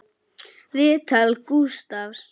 Viðtal Gústafs